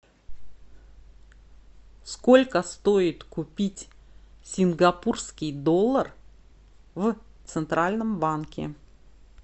сколько стоит купить сингапурский доллар в центральном банке